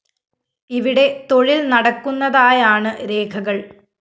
ഇവിടെ തൊഴില്‍ നടക്കുന്നതായാണ് രേഖകള്‍